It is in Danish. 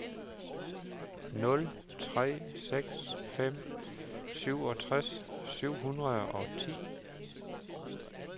nul tre seks fem syvogtres syv hundrede og ti